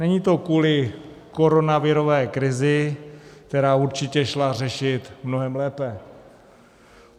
Není to kvůli koronavirové krizi, která určitě šla řešit mnohem lépe.